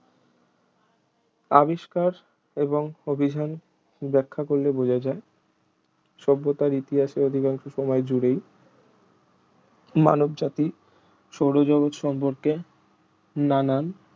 আবিষ্কার এবং অভিযান বেখ্যা করলে বোঝা যায় সভ্যতার ইতিহাসে অধিকাংশ সময় জুড়েই মানবজাতি সৌরজগৎ সম্পর্কে নানান